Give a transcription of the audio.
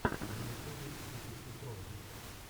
на ютубе би си си троллинг